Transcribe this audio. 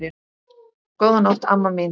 Góða nótt, amma mín.